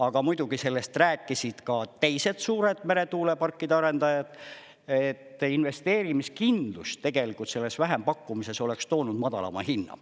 Aga muidugi sellest rääkisid ka teised suured meretuuleparkide arendajad, et investeerimiskindlus tegelikult selles vähempakkumises oleks toonud madalama hinna.